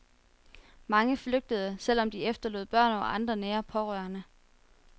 Mange flygtede, selv om de efterlod børn og andre nære pårørende.